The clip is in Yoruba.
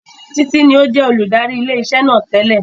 Títí ní ó jẹ́ olùdarí ilé iṣẹ́ náà tẹ́lẹ̀